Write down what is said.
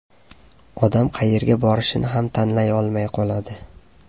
Odam qayerga borishni ham tanlay olmay qoladi.